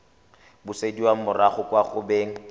busediwa morago kwa go beng